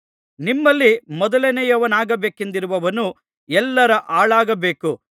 ನಿಮ್ಮಲ್ಲಿ ಮೊದಲನೆಯವನಾಗಬೇಕೆಂದಿರುವವನು ಎಲ್ಲರ ಆಳಾಗಬೇಕು